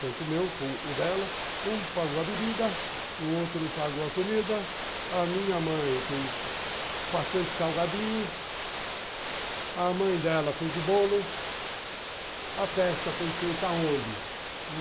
tanto o meu como o dela, um pagou a bebida, o outro pagou a comida, a minha mãe fez bastante salgadinho, a mãe dela fez o bolo, a festa foi feita aonde?